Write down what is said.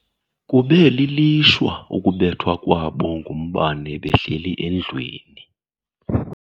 Kube lilishwa ukubethwa kwabo ngumbane behleli endlwini.